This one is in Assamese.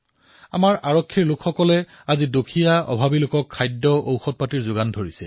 আমাৰ আৰক্ষীসকলে আজি দৰিদ্ৰ ক্ষুধাৰ্ত লোকসকলক খাদ্যৰ যোগান ধৰিছে ঔষধৰ যোগান ধৰিছে